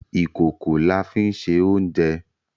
Ìkòkò la fí ń se oúnjẹ